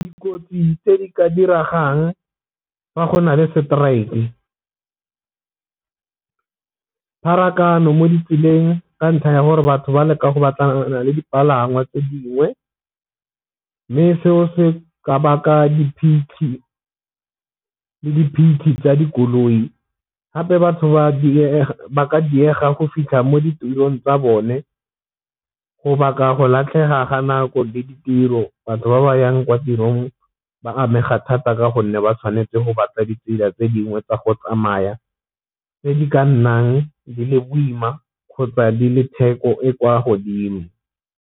Dikotsi tse di ka diragang fa gona le strike, pharakano mo ditseleng ka ntlha ya gore batho ba leka go batlana le dipalangwa tse dingwe, mme seo se ka ba ka tsa dikoloi gape batho ba ka diega go fitlha mo ditulong tsa bone go baka go latlhega ga nako di ditiro batho ba ba yang kwa tirong ba amega thata ka gonne ba tshwanetse go batla ditsela tse dingwe tsa go tsamaya tse di ka nnang di le boima kgotsa di le theko e kwa godimo.